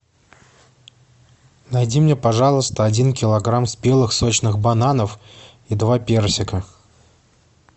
найди мне пожалуйста один килограмм спелых сочных бананов и два персика